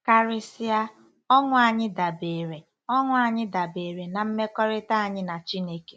Karịsịa, ọṅụ anyị dabeere ọṅụ anyị dabeere na mmekọrịta anyị na Chineke.